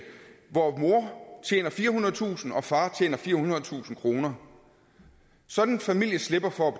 hvor mor tjener firehundredetusind kr og far tjener firehundredetusind kroner sådan en familie slipper for